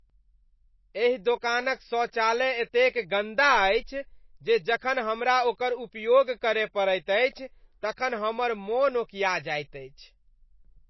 एहि दोकानक शौचालय एतेक गन्दा अछि जे जखन हमरा ओकर उपयोग करय पड़ैत अछि तखन हमर मन ओकिया जायत अछि।